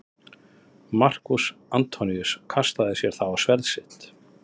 Markús Antoníus kastaði sér þá á sverð sitt.